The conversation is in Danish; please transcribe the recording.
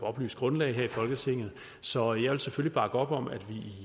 oplyst grundlag så jeg vil selvfølgelig bakke op om at